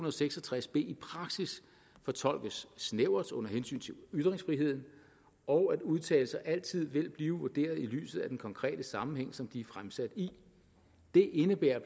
og seks og tres b i praksis fortolkes snævert under hensyn til ytringsfriheden og at udtalelser altid vil blive vurderet i lyset af den konkrete sammenhæng som de er fremsat i det indebærer